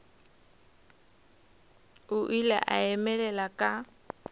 o ile a emelela ka